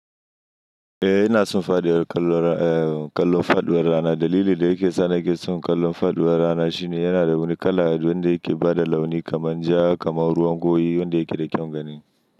Eh ina son faɗuwar kallon, kallon faɗuwar rana. Dalili da yake sa nake son kallon faɗuwar rana shine yana da wani kala wanda yake ba da launi kamar ja, kamar ruwan goyi wanda yake da kyaun gani.